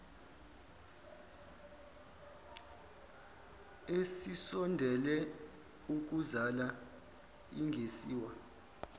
esisondele ukuzala ingasiwa